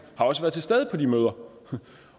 også været til stede på de møder